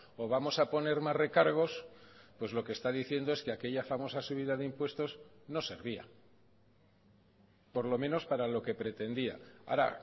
o vamos a poner más recargos pues lo que está diciendo es que aquella famosa subida de impuestos no servía por lo menos para lo que pretendía ahora